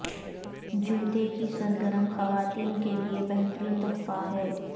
جوتے کی سرگرم خواتین کے لئے بہترین تحفہ ہے